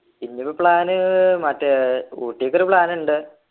ഇന്നിപ്പോ plan മറ്റേ ഊട്ടിക്ക് ഒരു plan ഉണ്ട്